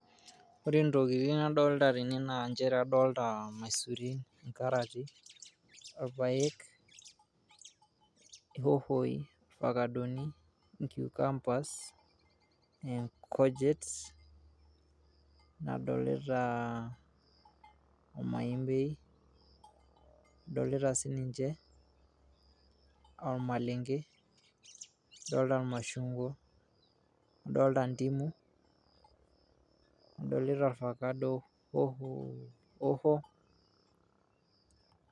ore intokitin nadolta tene naa inchere adolta imaisurin, inkarati, orpayek, ihohoi irfakadoni inkiukambas, inkujit nadolita omaembei, adolita siniche ormalenge adolita irmashungwa adolita ndimu, adolita orfakado ofo.